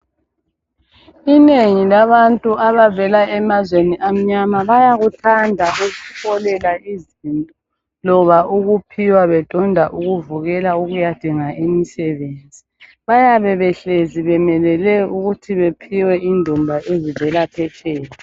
Inengi labantu abavela emazweni amnyama bayakuthanda ukuboleka izinto loba ukuphiwa bedonda ukuvukela ukuyadinga imisebenzi. Bayabe behlezi bemelele ukuthi baphiwe indumba ezivela petsheya.